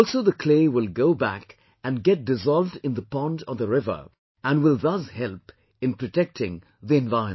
Also the clay will go back and get dissolved in the pond or the river and will thus help in protecting the environment